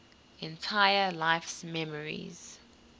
entire life's memories